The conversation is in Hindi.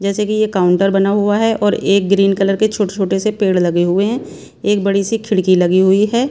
जैसे कि ये काउंटर बना हुआ है और एक ग्रीन कलर के छोटे-छोटे से पेड़ लगे हुए हैं एक बड़ी सी खिड़की लगी हुई है।